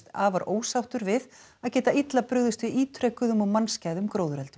afar ósáttur við að geta illa brugðist við ítrekuðum og mannskæðum gróðureldum